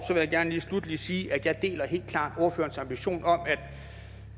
jeg gerne lige sluttelig sige at jeg helt klart ordførerens ambition om at